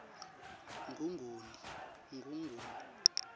ngongoni